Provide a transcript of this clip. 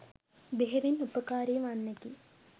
බෙහෙවින් උපකාරී වන්නකි.